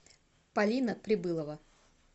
полина прибылова